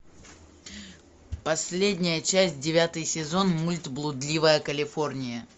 последняя часть девятый сезон мульт блудливая калифорния